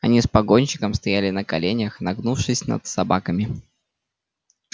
они с погонщиком стояли на коленях нагнувшись над собаками